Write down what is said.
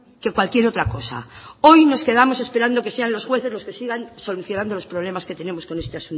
que cualquier otra cosa hoy nos quedamos esperando que sean los jueces los que sigan solucionando los problemas que tenemos con este